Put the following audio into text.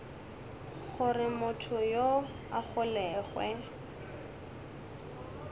gore motho yoo a golegwe